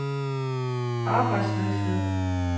arbejdsløshed